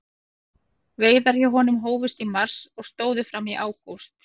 Veiðar hjá honum hófust í mars og stóðu fram í ágúst.